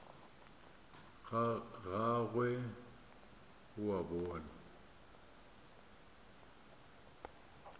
ga gagwe o a bona